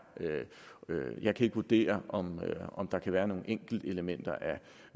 jeg kan ikke vurdere om der kan være nogle enkeltelementer